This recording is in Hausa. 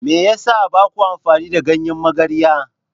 Me yasa baku amfani da ganyen magarya?